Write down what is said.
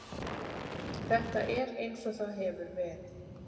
Þetta er eins og það hefur verið.